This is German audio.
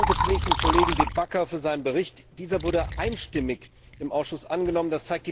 Ich danke zunächst dem Kollegen De Backer für seinen Bericht. Dieser wurde einstimmig im Ausschuss angenommen.